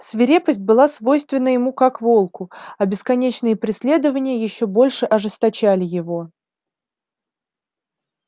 свирепость была свойственна ему как волку а бесконечные преследования ещё больше ожесточали его